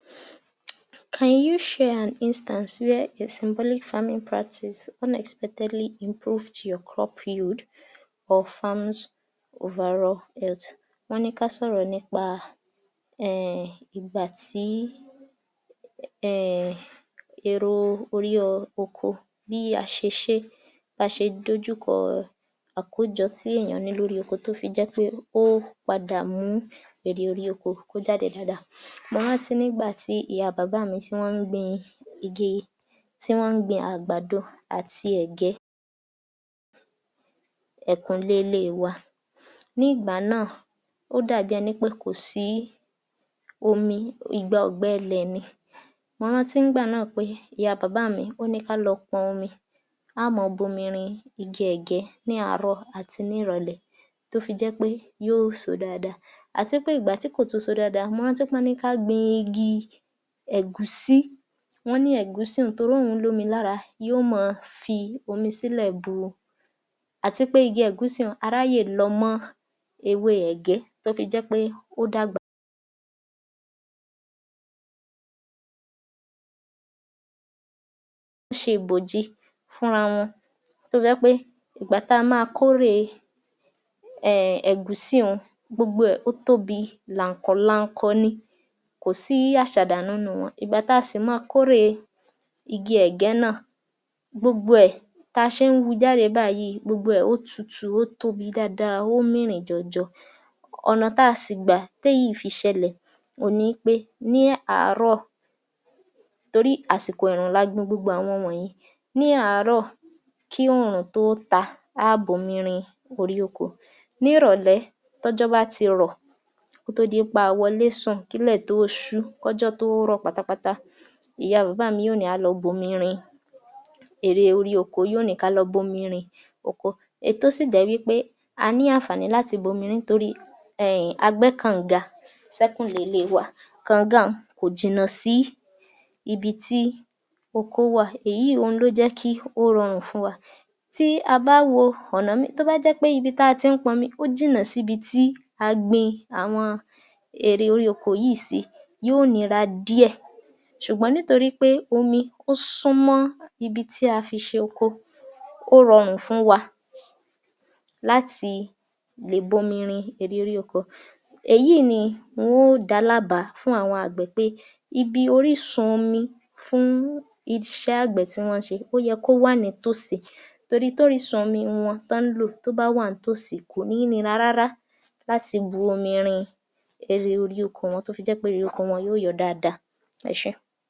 Can you share an instance where a symbolic family practice improved your crop yield of farm overall health wọ́n ní ká sọ̀rọ̀ nípa err ìgbàtí err èrè orí oko bí a ṣe ṣé bí aṣe dójúkọ àkójo tí éyàn ní lóri oko tó fi jépé ère orí oko kó jáde dáadáa mo ráńtí nígbà tí ìyá bàbá tí wọ́n gbin igi tí wọ́n gbin àgbàdo àti ẹ̀gé ẹ̀yìnkùlé ilé wa a ní ìgbà náà ó dàbí eni wípé kòsi omi igba ọ̀gbẹ ilẹ̀ ni mò rańtí pé ìyá bàbá mi ó ní kále pọn omi, a ó màa bo mu rin ígí ẹ̀gẹ́ ní àárò tó fi jẹ́pẹ́ yíò so o dáadáa àti pé ìgbà tí kò so o dáadáa wọn tún ní ká gbin igi ẹ̀gúsí wọ́n ní ẹ̀gúsí torí òun l’ómi lára yíò ma fi omi sílẹ̀ bú ú àti pé igi ẹ̀gúsi yìí áráyè lọ́ ọ́ mọ́ ewé ẹ̀gẹ́ kó fi jẹ́pẹ́ ó dàgbà óṣe ìbòjì fún ara wọn tó fi jẹ́pẹ́ nìgbà tà má a kórè ẹ̀gúsí n gbógbó ẹ̀ ó tóbi lààǹkọ̀ lààǹkọ̀ ní kò sí aṣàdànù nínu wọn ìgbà ta sì ma kórè ígí ẹ̀gẹ́ náà gbógbó ẹ̀ ba n ṣẹ́ wu jáde bayíì gbógbó ó tùtù ó tóbi dáadáa ó mìrìn jọ̀jọ̀ ọ̀bà tá a sì gbà té èyíì fi i ṣẹ̀lẹ̀ òun ní pé ní àárò torí àsìkò ẹ̀ẹ̀rùn la gbin gbogbo àwọn wònyẹn ní àáro kí òòrùn tó ó ta a ó bo omi rin orí oko ni ìrọ̀lé tí ọ̀jọ́ bá ti yó kó tó dipé awọlé sùn kí ìlè tó sú pátápátá ìya bàbá mí á ní kí á lọ bo mi rin èrè orí oko yíò ní kále bo mi rin oko èyi tó si jẹ̀ wípé a ni àǹfàní tórí pé[err] a gbé kọ̀ǹga ṣé kù lé ilé wa kọ̀nga ọ̀un kò jìnà sí ibi tí oko wa éyí lo jẹ́ kó rọrùn fún wa tí a ba wo ọ̀nà míì tó bá jẹ́pé ibi tí a ń tí ponmi ó jìnnà sí ibi tí a gbin erè inú oko yíì sì í yó ó nírà díè sùgbọ́n nítorí omi ó sún mọ ibi tí afí ṣe oko ó ranrùn fún wa làti lè se erè oko èyí ì ni wọn ọ́ da lábà á ibi orísun omi fun iṣé àgbé tí wọ́n ńse ó ye ki ó wa ní ìtòsì tori tí orísun omi wọn tí ó bá wà ní tòsí kò ní ni ra rárá làti bú omi rin èrè inú oko wọn ró fi jẹ́ pẹ́ èrè inú oko wọn yìó jo o dáadáa eṣé.